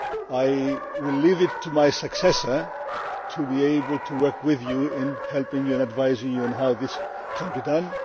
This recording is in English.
I will leave it to my successor to be able to work with you in helping and advising you on how this can be done.